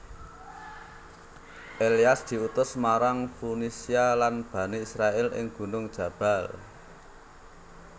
Ilyas diutus marang Funisia lan Bani Israil ing gunung Jabbal